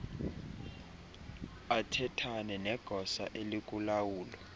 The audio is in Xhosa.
athethane negosa elikulawulo